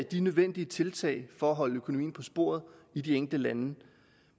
de nødvendige tiltag for at holde økonomien på sporet i de enkelte lande